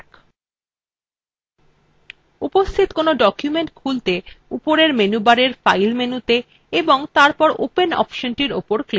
উপস্থিত কোনো document খুলতে উপরের menu bar file মেনুতে এবং তারপর open অপশনটির উপর click করুন